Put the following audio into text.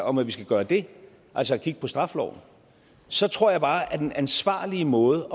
om at vi skal gøre det altså kigge på straffeloven så tror jeg bare at den ansvarlige måde